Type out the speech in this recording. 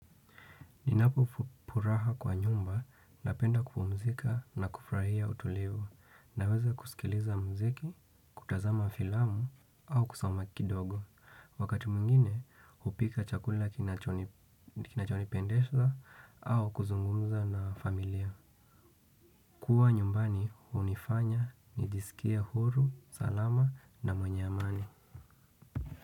Ninapopuraha kwa nyumba napenda kupumzika na kufurahia utulivu. Naweza kusikiliza mziki, kutazama filamu au kusoma kidogo. Wakati mwingine hupika chakula kinachonipendeza au kuzungumza na familia. Kuwa nyumbani hunifanya nijisikie huru, salama na mwenye amani.